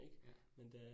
Ja